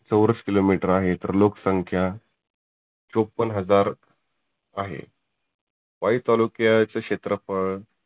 चौरस kilometre आहे. तर लोक संख्या चोप्पन्न हजार आहे. वाई तालुक्याचे क्षेत्रफळ